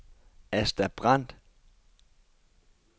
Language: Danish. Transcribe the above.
Asta Brandt